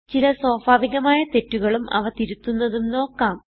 ചില സ്വാഭാവികമായ തെറ്റുകളും അവ തിരുത്തുന്നതും നോക്കാം